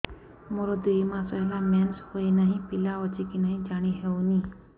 ମୋର ଦୁଇ ମାସ ହେଲା ମେନ୍ସେସ ହୋଇ ନାହିଁ ପିଲା ଅଛି କି ନାହିଁ ଜାଣି ହେଉନି